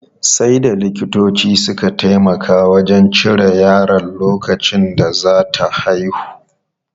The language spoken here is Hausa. Sai da likitoci suka taimaka wajen cire yaron lokacin da za ta haihu.